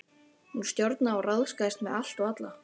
Hún stjórnaði og ráðskaðist með allt og alla.